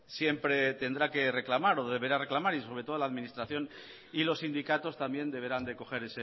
siempre tendrá que reclamar o deberá reclamar y sobre todo a la administración y los sindicatos también deberán de coger